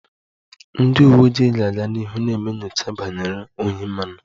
Ndị uwe ojii ga-aga n'ihu na-eme nyocha banyere ohi mmanụ